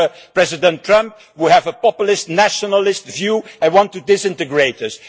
We have President Trump, who has a populist nationalist view and wants to disintegrate us.